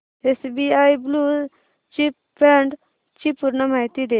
SBI blue chip fund ची पूर्ण माहिती दे